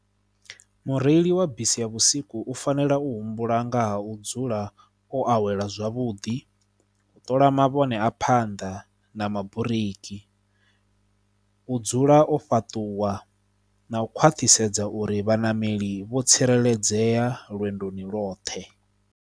Mureili wa bisi ya vhusiku u fanela u humbula ngaha u dzula o awela zwavhuḓi, u ṱola mavhone a phanḓa na maburiki, u dzula o fhaṱuwa na u khwaṱhisedza uri vhaṋameli vho tsireledzea lwendoni loṱhe.